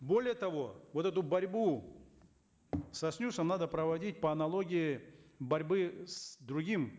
более того вот эту борьбу со снюсом надо проводить по аналогии борьбы с другим